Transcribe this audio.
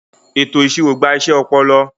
Ètò ìṣirò gba iṣẹ́ ọpọlọ.